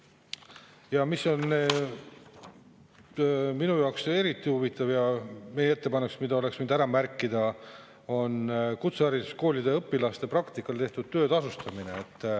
Ja mis on minu jaoks eriti huvitav: meie ettepanek, mille oleks võinud ära märkida, on kutsehariduskoolide õpilaste praktikal tehtud töö tasustamine.